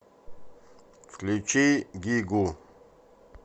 включи гигу